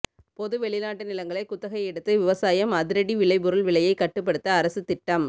பொது வெளிநாட்டு நிலங்களை குத்தகை எடுத்து விவசாயம் அதிரடி விளைபொருள் விலையை கட்டுப்படுத்த அரசு திட்டம்